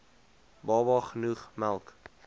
baba genoeg melk